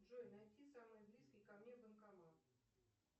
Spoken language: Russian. джой найди самый близкий ко мне банкомат